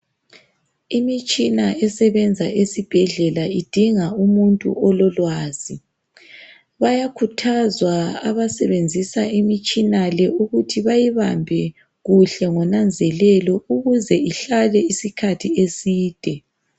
Imitshina esebenza esibhedlela idinga umuntu ololwazi. Bayakhuthazwa abasebenzisa imitshina le ukuthi bayibambe kuhle, ngonanzelelo ukuze ihlale isikhathi eside.